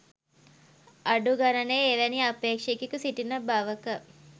අඩු ගණනේ එවැනි අපේක්ෂකයෙකු සිටින බවක